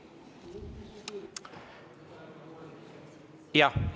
Jah.